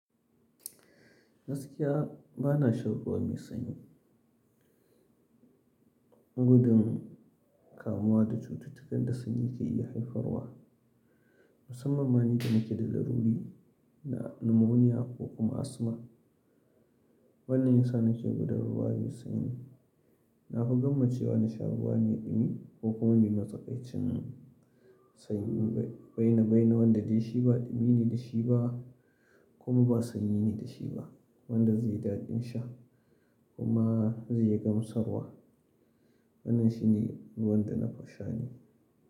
Gaskiya ba na shan ruwa mai sanyi. Gudun kamuwa da cututtukan da sanyi ke iya haifarwa, musamman ma ni da nake da laruri na numoniya ko kuma asthma. Wannan yasa nake gudun ruwa mai sanyi. Na fi gwammacewa na sha ruwa mai dumi ko kuma mai matsakaicin sanyi, baina-baina wanda dai shi ba dumi ne da shi ba kuma ba sanyi ne da shi ba wanda zai daɗin sha kuma zai yi gamsarwa. Wannan shi ne ruwan da na fi sha ne.